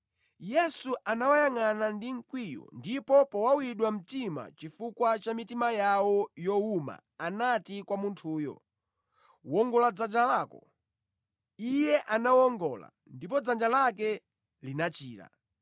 Yesu anawayangʼana ndi mkwiyo ndipo powawidwa mtima chifukwa cha mitima yawo yowuma anati kwa munthuyo, “Wongola dzanja lako.” Iye analiwongola, ndipo dzanja lake linachira.